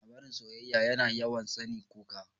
Labarin soyyaya yana yawan sani kuka.